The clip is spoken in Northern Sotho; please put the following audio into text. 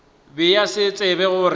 be a sa tsebe gore